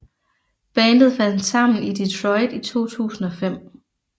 Bandet fandt sammen i Detroit i 2005